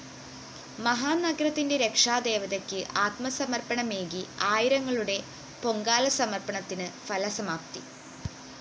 മഹാനഗരത്തിന്റെ രക്ഷാദേവതക്ക് ആത്മസമര്‍പ്പണമേകി ആയിരങ്ങളുടെ പൊങ്കാലസമര്‍പ്പണത്തിന് ഫലസമാപ്തി